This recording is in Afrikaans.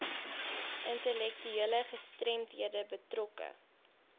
intellektuele gestremdhede betrokke